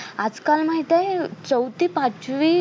आजकाल माहितेय चौथी पाचवी